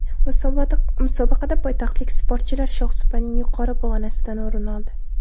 Musobaqada poytaxtlik sportchilar shohsupaning yuqori pog‘onasidan o‘rin oldi.